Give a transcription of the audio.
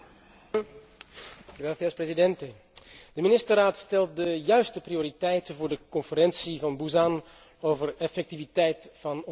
Voorzitter, de ministerraad stelt de juiste prioriteiten voor de Conferentie van Busan over effectiviteit van ontwikkelingssamenwerking.